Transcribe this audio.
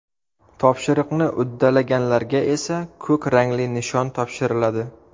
Topshiriqni uddalaganlarga esa ko‘k rangli nishon topshiriladi.